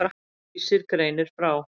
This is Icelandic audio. Vísir greinir frá.